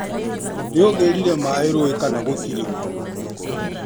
Nĩ ũgĩrire maĩ rũĩ kana gũtĩrĩ?